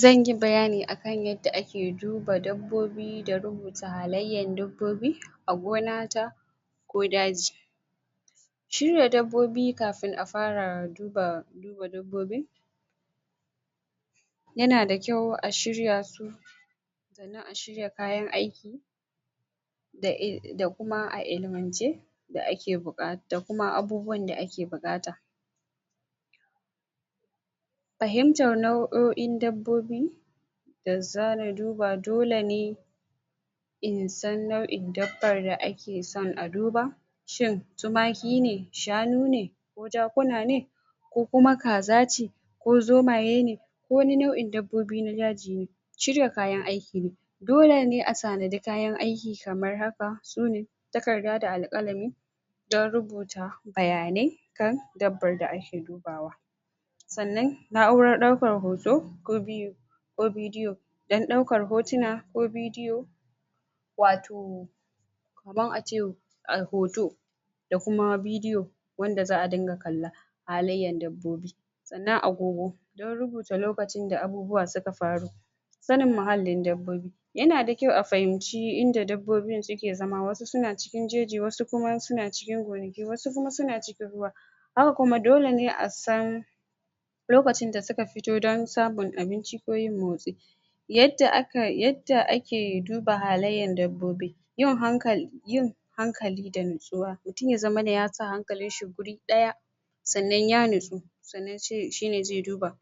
Zanyi bayani akan yadda ake duba dabbobi da rubuta halayyar dabbobi a gonata ko daji shirya dabbobi kafin a fara duba dabbobi yanada kyau a shirya su a shirya kayan aiki da kuma a ilmance, da kuma abubuwan da ake bukata fahimtar nau'oin dabbobi da zamu duba, dole ne in san nau'in dabbaar da ake son a duba shin tumaki ne shanu ne ko jakuna ne ko kuma kaza ce ko zomaye ne ko wani nau'in dabbobin daji ne shirya kayan aiki dolene a tanadi kayan aiki kamar haka, sune takarda da alƙalami don rubuta bayanai akan dabbar da ake dubawa sannan na'urar ɗaukar hoto ko vi video don ɗaukar hotuna ko bidiyo wato kaman ace hoto da kuma bidiyo wanda za'a dinga kalla halayyan dabbobi sannan agogo don rubuta lokutan da abubuwa suka faru sanin muhallin dabbobi yana da kyau a fahimci inda dabbobin suke zama wasu suna cikin jeji wasu suna cikin gonaki wasu kuma suna cikin ruwa haka kuma, dole ne a san lokacin da suka fito don samun abinci ko yin motsi yadda aka, yadda ake duba halayyar dabbobi. yin hankali, yin hankali da nutsuwa. Mutum ya zamana yasa hankalinshi wuri daya sannan ya nutsu shine zai duba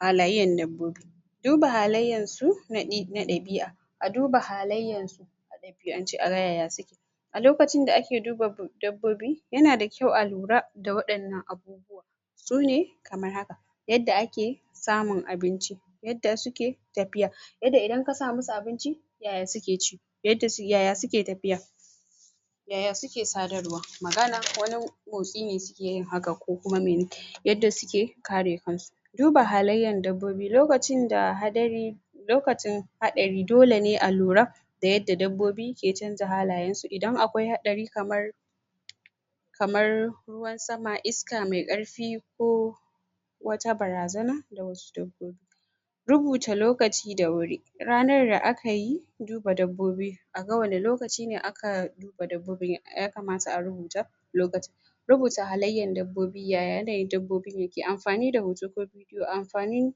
halayyan dabbobi duba halayyan su na ɗabi'a a duba halayyan su a ɗabi'ance a ga yaya suke a lokacin da ake duba dabbobi yana da kyau alura da waɗannan abubuwa sune kamar haka yadda ake samun abinci yadda suke tafiya yadda idan ka sa musu abinci yaya suke ci yaya suke tafiya yaya suke sadarwa magana ko motsi ne sukeyin hakan ko kuma yadda suke kare kansu duba halayyar dabbobi, lokacin hadari lokacin haɗari dole ne a lura da yadda dabbobi ke canja halayen su, idan akwai haɗari kamar kamar ruwan sama, iska mai ƙarfi ko wata barazana rubuta lokachi da wuri ranar da aka yi duba dabbobi, aga waɗanna lokachi ne aka duba dabbobin, ya kamata arubuta lokutan rubuta halayyan dabbobi, yaya yanayin dabbobin yake, amfani da ho ko kuma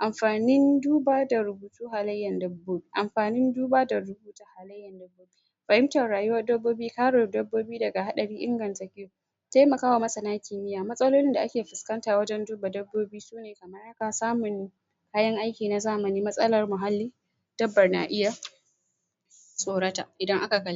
amfanin duba da rubutn halayyan dabbo... amfanin duba da ru... fahimtar rayuwar dabbobi, kare dabbobi daga haɗari taimakawa masana kimiyya, matsalolin da ake fuskanta wajen duba dabobi kan samun kayan aiki na zamani matsalar muhalli dabbar na iya tsorata idan aka kalli